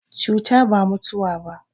Cuta ba mutawa ba.